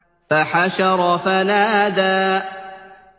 فَحَشَرَ فَنَادَىٰ